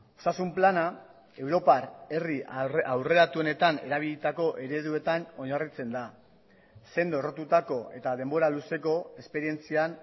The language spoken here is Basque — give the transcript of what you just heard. osasun plana europar herri aurreratuenetan erabilitako ereduetan oinarritzen da sendo errotutako eta denbora luzeko esperientzian